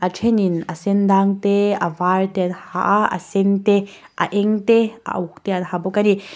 a thenin a sen dâng te a var te an ha a a sen te a eng te a uk te an ha bawk a ni.